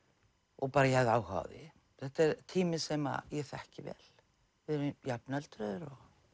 og bara ég hafði áhuga á því þetta er tími sem ég þekki vel við erum jafnöldrur